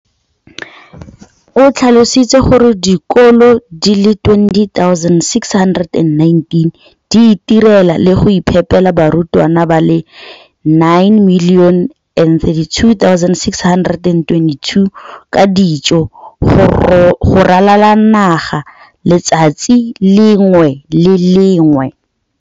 o tlhalositse gore dikolo di le 20 619 di itirela le go iphepela barutwana ba le 9 032 622 ka dijo go ralala naga letsatsi le lengwe le le lengwe.